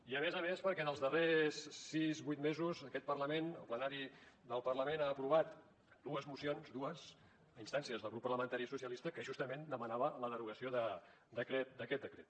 i a més a més perquè en els darrers sis vuit mesos aquest parlament el plenari del parlament ha aprovat dues mocions dues a instàncies del grup parlamentari socialistes que justament demanaven la derogació d’aquest decret